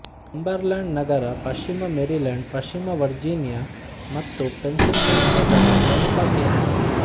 Cumberland ನಗರ ಪಶ್ಚಿಮ Maryland ಪಶ್ಚಿಮ ವರ್ಜಿನಿಯ ಮತ್ತು ಪೆನ್ಸಿಲ್ವೇನಿಯಗಳ ಪ್ರಮುಖ ಕೇಂದ್ರ